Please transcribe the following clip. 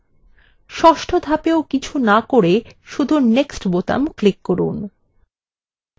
ষষ্ঠ ধাপেও কিছু না করে শুধু next বোতাম ক্লিক করুন